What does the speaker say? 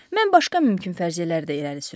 Mən başqa mümkün fərziyyələr də irəli sürəcəyəm.